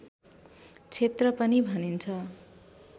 क्षेत्र पनि भनिन्छ